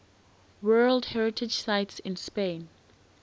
world heritage sites in spain